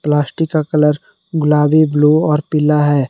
Plastic का colour गुलाबी blue और पीला है।